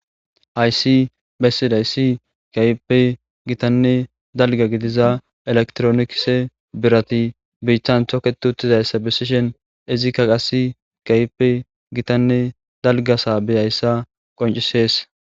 Hayssi bessiday si kayppe gitanne dalga gidiza elektroniise birati biiththan thoket uttizayssa bessishen izikka qasi kaype gitanne dalgasaa beyayssa qoncisees.